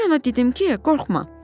Mən ona dedim ki, qorxma.